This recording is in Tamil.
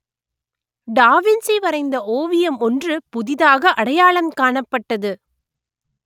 டா வின்சி வரைந்த ஓவியம் ஒன்று புதிதாக அடையாளம் காணப்பட்டது